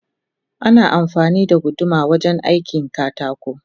Ana amfani da guduma wajen aikin katako